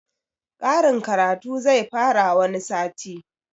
Karin karatu zai fara wani sati